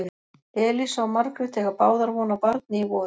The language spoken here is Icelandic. Elísa og Margrét eiga báðar von á barni í vor.